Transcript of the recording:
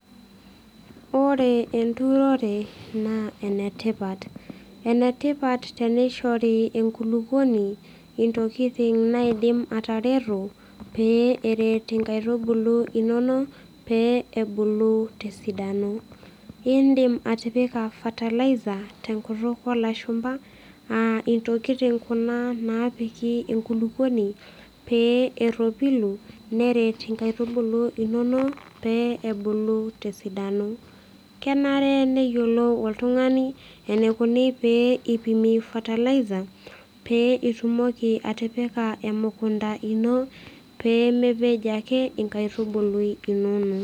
Ore enturore naa ene tipat, ene tipat tenishori enkulupuoni ntokitin naidim atareto pee eret inkaitubulu inono pee ebulu tesidano. Idim atipika fertilizer te nkutuk oolashumpa, aa intokitin kuna naapiki enkulupuoni pee eropilu, nrt inkaitubulu inono pee ebulu tsidano. kenare neyiolou oltungani enikoni pee eeipimi fertilizer pee itumoki atipika emukunta ino, pee mepej ake enkaitubului inono.